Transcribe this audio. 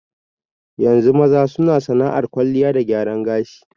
Yanzu maza na sana'ar kwalliya da gyaran gashi.